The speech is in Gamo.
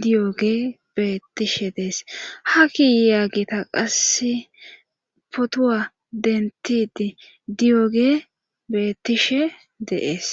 diyoge beettishe dees ha kiyaagita qasse potoa dentidi diyoge bettishe deees